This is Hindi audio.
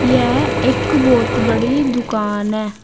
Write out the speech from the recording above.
एक बहुत बड़ी दुकान है।